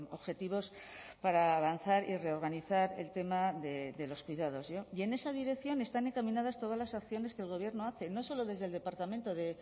objetivos para avanzar y reorganizar el tema de los cuidados y en esa dirección están encaminadas todas las acciones que el gobierno hace no solo desde el departamento de